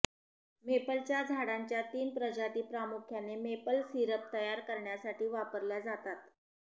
मेपलच्या झाडांच्या तीन प्रजाती प्रामुख्याने मेपल सिरप तयार करण्यासाठी वापरल्या जातात